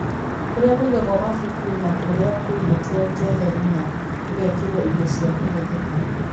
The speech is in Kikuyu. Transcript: Kũrĩa kũigagwo mabuku na kũria kũigĩtwo keheri na gũgekĩrwo indo cia kũhũthĩka.